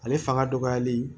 Ale fanga dɔgɔyali